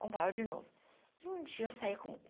Comprava de novo. Um dia eu saí com com